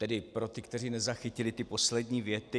Tedy pro ty, kteří nezachytili ty poslední věty.